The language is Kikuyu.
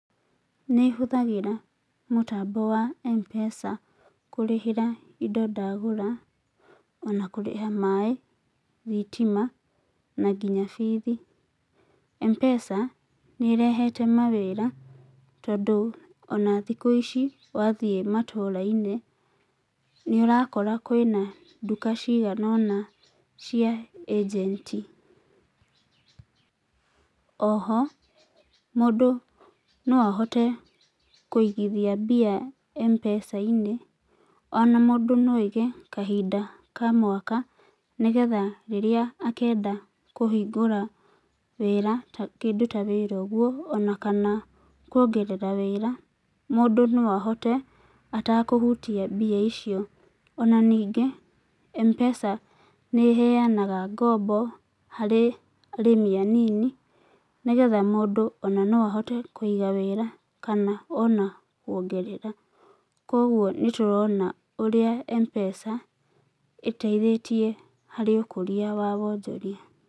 Nĩ hũthagĩra mũtambo wa M-pesa kũrĩhĩra indo ndagũra, ona kũrĩha maĩ, thitima, na nginya bithi. M-pesa nĩ ĩrehete mawĩra tondũ ona thikũ ici wathiĩ matũra-inĩ nĩ ũrakora kwĩna nduka cigana ũna cia ajenti. Oho mũndũ no ahote kũigithia mbia M-pesa-inĩ. Ona mũndũ no aige kahinda ka mwaka nĩgetha rĩrĩa akenda kũhingũra wĩra, kĩndũ ta wĩra ũguo, ona kana kuongerera wĩra mũndũ no ahote atekũhutia mbia icio. Ona ningĩ, M-pesa nĩ ĩheanaga ngombo harĩ arĩmi anini nĩgetha mũndũ ona no ahote kũiga wĩra kana ona kuongerera. Koguo nĩtũrona ũrĩa M-pesa ĩteithĩtie harĩ ũkũria wa wonjoria.